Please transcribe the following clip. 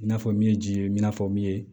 I n'a fɔ min ye ji ye i n'a fɔ min ye